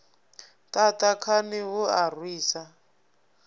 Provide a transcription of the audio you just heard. ṱaṱa khani hu a rwisa